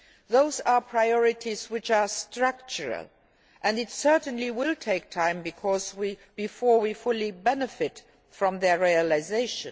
Those are priorities which are structural, and it certainly will take time before we fully benefit from their realisation.